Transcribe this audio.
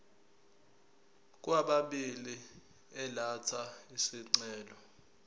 kwababili elatha isicelo